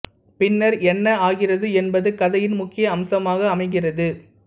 பின்னர் என்ன ஆகிறது என்பது கதையின் முக்கிய அம்சமாக அமைகிறது